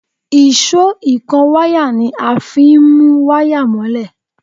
Èṣó ìkanwáyà ni a fi ń mú wáyà mọ́lẹ̀